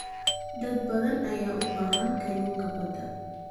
Dad badan ayaa u baahan kalluunka badda.